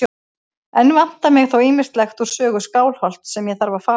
Enn vantar mig þó ýmislegt úr sögu Skálholts sem ég þarf að fá.